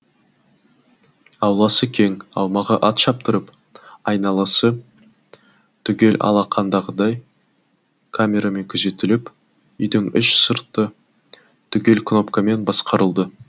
ауласы кең аумағы ат шаптырым айналасы түгел алақандағыдай камерамен күзетіліп үйдің іш сырты түгел кнопкамен басқарылды